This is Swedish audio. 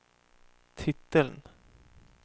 titeln